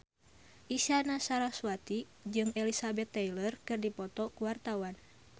Isyana Sarasvati jeung Elizabeth Taylor keur dipoto ku wartawan